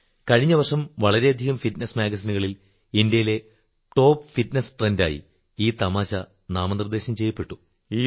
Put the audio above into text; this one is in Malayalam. കഴിഞ്ഞ വർഷം വളരെ ഫിറ്റ്നസ് മാഗസിനുകളിൽ ഇന്ത്യയിലെ ടോപ്പ് ഫിറ്റ്നെസ് ട്രെൻഡ് ആയി ഈ തമാശ നാമനിർദ്ദേശം ചെയ്യപ്പെട്ടു